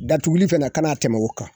Datuguli fana kana tɛmɛ o kan